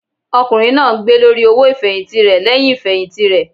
Ọkùnrin náà ń gbé lórí owó ifẹhinti rẹ lẹhìn ifẹhinti rẹ.